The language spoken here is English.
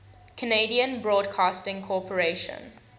canadian broadcasting corporation